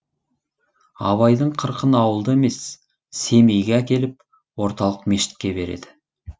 абайдың қырқын ауылда емес семейге әкеліп орталық мешітке береді